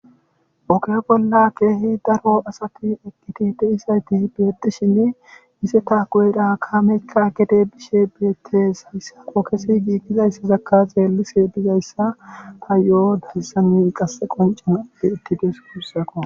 Oge bolla keehi daro asati eqqidi de'izayti beetishe izata goyera kaamekka gede bishe beetees. Hayssan ogezi giigizayssakka xeelishe tayyo hayssan qasse qoncanaw beetidees. guusakko.